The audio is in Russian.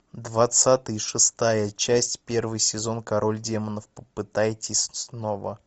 двадцатый шестая часть первый сезон король демонов попытайтесь снова